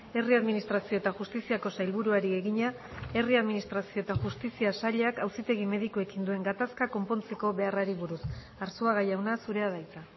herri administrazio eta justiziako sailburuari egina herri administrazio eta justizia sailak auzitegi medikuekin duen gatazka konpontzeko beharrari buruz arzuaga jauna zurea da hitza